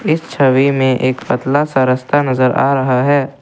इस छवि में एक पतला सा रस्ता नजर आ रहा है।